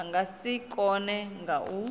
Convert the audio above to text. nga si kone kha u